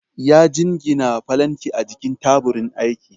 ya jingine falanki a jikin taburin aiki